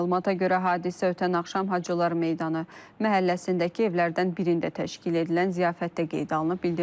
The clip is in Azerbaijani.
Məlumata görə hadisə ötən axşam Hacılar meydanı məhəlləsindəki evlərdən birində təşkil edilən ziyafətdə qeydə alınıb.